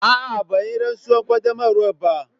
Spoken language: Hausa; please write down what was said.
A'a, ban yi rantsuwar qaddamarwa ba.